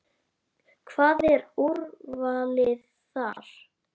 Hvað, er úrvalið þar?